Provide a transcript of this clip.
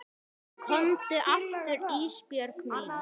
Komdu aftur Ísbjörg mín.